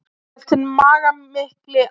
hélt hinn magamikli áfram.